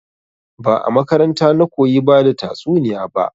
Ba a makaranta na koyi bada tatsuniya ba